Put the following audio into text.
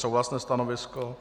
Souhlasné stanovisko.